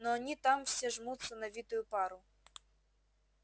но они там все жмутся на витую пару